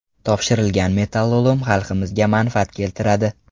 Topshirilgan metallolom xalqimizga manfaat keltiradi!